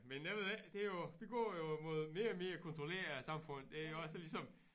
Men jeg ved ikke det jo det går jo mod mere og mere kontrolleret samfund det også ligesom